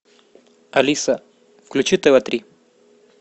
алиса включи тв три